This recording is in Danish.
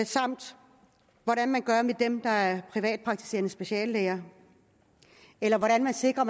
samt hvordan man gør med dem der er privatpraktiserende speciallæger eller hvordan man sikrer